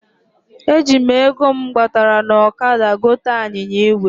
E ji m ego m gbatara n ọkada gote anyinya igwe.